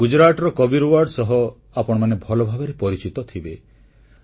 ଗୁଜରାଟର କବୀରୱାଡ୍ ସହ ଆପଣମାନେ ଭଲ ଭାବରେ ପରିଚିତ ଥିବେ